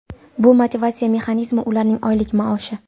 Bu motivatsiya mexanizmi ularning oylik maoshi.